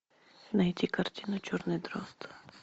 найти картину черный дрозд